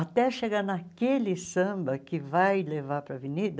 Até chegar naquele samba que vai levar para a avenida,